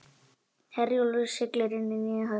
Herjólfur siglir inn í nýja höfn